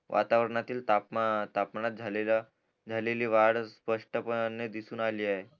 वातावरणातील तापमानात झालेल्या झालेली वाढ स्पष्ट पणे दिसून आलेली आहे